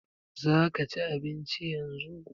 Za ka ci abinci yanzu?